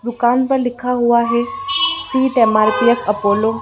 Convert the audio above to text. दुकान पर लिखा हुआ है सीट एम_आर_पी_एफ अपोलो --